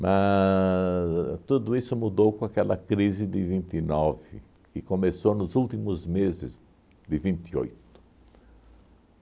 Mas tudo isso mudou com aquela crise de vinte e nove, que começou nos últimos meses de vinte e oito